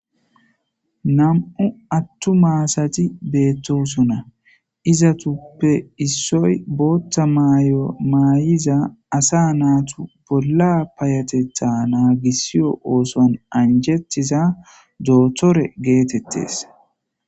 Nam"u attuma asati beettosona. izatappe issoy bootta mayo maayiza asa naatu bolla payateththa naagissiyo ooson anjettiza dootore geetettes.